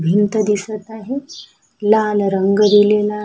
भिंत दिसत आहे लाल रंग दिलेला--